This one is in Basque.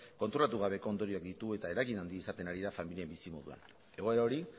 konturatu gabeko ondorioak ditu eta eragin handia izaten ari da familien bizimoduan egoera hori